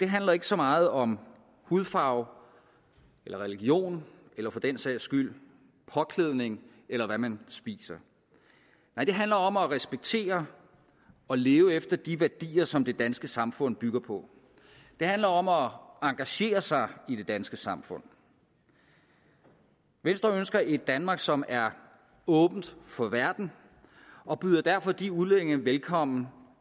handler ikke så meget om hudfarve eller religion eller for den sags skyld påklædning eller hvad man spiser nej det handler om at respektere og leve efter de værdier som det danske samfund bygger på det handler om at engagere sig i det danske samfund venstre ønsker et danmark som er åbent for verden og byder derfor de udlændinge velkommen